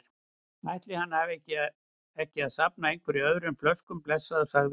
Ætli hann ætti ekki að safna einhverju öðru en flöskum, blessaður, sagði hún.